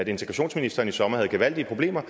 integrationsministeren i sommer havde gevaldige problemer